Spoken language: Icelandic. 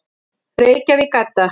Reykjavík, Edda.